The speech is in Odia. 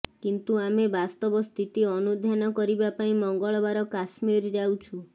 କିନ୍ତୁ ଆମେ ବାସ୍ତବ ସ୍ଥିତି ଅନୁଧ୍ୟାନ କରିବା ପାଇଁ ମଙ୍ଗଳବାର କଶ୍ମୀର ଯାଉଛୁ